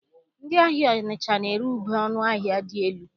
Ndị ahịa Ọnịcha na-ere ube ọnụ ahịa dị elu.